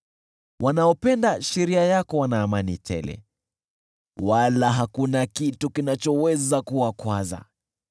Wanaopenda sheria yako wana amani tele, wala hakuna kitu kinachoweza kuwakwaza.